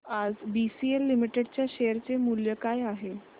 आज BCL limited च्या share चे मूल्य काय आहे